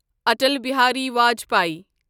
Atal Bihari Vajpayee